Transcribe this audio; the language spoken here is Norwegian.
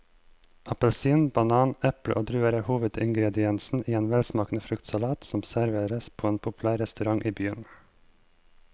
Appelsin, banan, eple og druer er hovedingredienser i en velsmakende fruktsalat som serveres på en populær restaurant i byen.